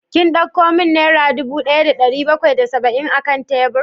Kin dauko min naira dubu daya da dari bakwai da saba'in akan tebur?